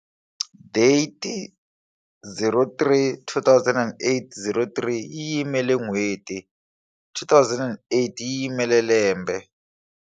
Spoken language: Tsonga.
DATE 03 2008 03 yi yimela n'hweti 2008 yi yimela lembe.